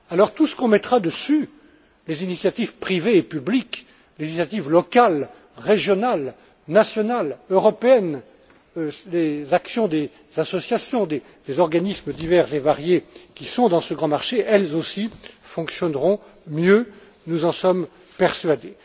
tout ce qu'on mettra dessus les initiatives privées et publiques, les initiatives locales, régionales, nationales, européennes, les actions des associations, des organismes divers et variés qui sont dans ce grand marché elles aussi fonctionneront mieux, nous en sommes persuadés.